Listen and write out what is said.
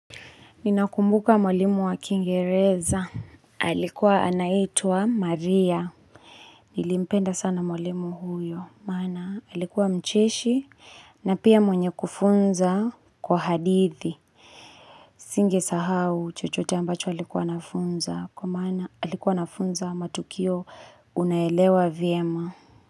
Ninakumbuka mwalimu wa kingereza alikuwa anaitwa maria Nilimpenda sana mwalimu huyo maana alikuwa mcheshi na pia mwenye kufunza kwa hadithi Singesahau chochote ambacho alikuwa anafunza kwa maana alikuwa anafunza matukio unaelewa vyema.